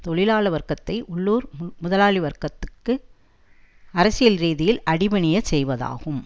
தொழிலாள வர்க்கத்தை உள்ளூர் முதலாளிவர்கத்திற்க்கு அரசியல் ரீதியில் அடிபணிய செய்வதாகும்